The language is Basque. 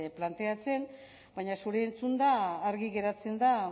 planteatzen baina zuri entzunda argi geratzen da